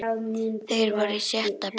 Þeir voru í sjötta bekk.